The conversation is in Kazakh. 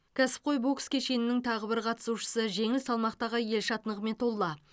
кәсіпқой бокс кешенінің тағы бір қатысушысы жеңіл салмақтағы елшат нығметолла